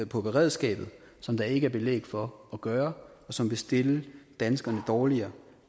på beredskabet som der ikke er belæg for at gøre og som vil stille danskerne dårligere